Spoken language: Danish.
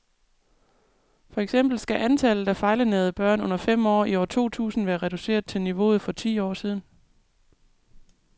For eksempel skal antallet af fejlernærede børn under fem år i år to tusind være reduceret til niveauet for for ti år siden.